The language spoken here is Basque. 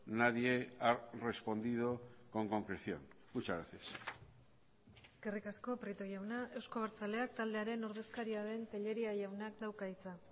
nadie ha respondido con concreción muchas gracias eskerrik asko prieto jauna euzko abertzaleak taldearen ordezkaria den telleria jaunak dauka hitza